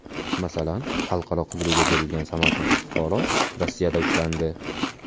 Masalan, xalqaro qidiruvga berilgan samarqandlik fuqaro Rossiyada ushlandi.